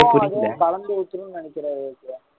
கலந்து ஊத்தணும்ன்னு நினைக்கிறாரு ஏ கே